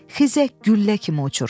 Xizək güllə kimi uçur.